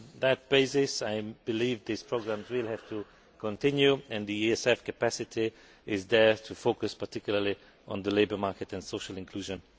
On that basis, I believe these programmes will have to continue and the ESF capacity is there to focus in particular on the labour market and social inclusion.